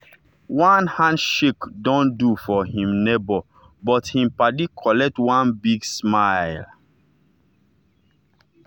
one handshake don do for him neighbor but him paddy collect one big smile.